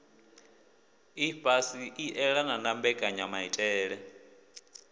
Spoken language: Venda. ifhasi i elanaho na mbekanyamaitele